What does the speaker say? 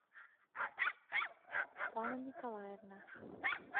светлана николаевна